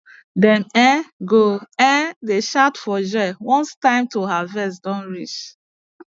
dem um go um dey shout for joy once time to harvest don reach